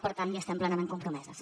per tant hi estem plenament compromeses